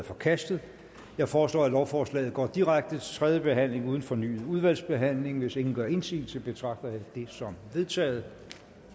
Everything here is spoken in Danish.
forkastet jeg foreslår at lovforslaget går direkte til tredje behandling uden fornyet udvalgsbehandling hvis ingen gør indsigelse betragter jeg det som vedtaget